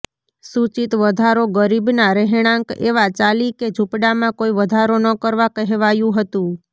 સૂચિત વધારો ગરીબના રહેણાંક એવા ચાલી કે ઝૂંપડામાં કોઈ વધારો ન કરવા કહેવાયું હતું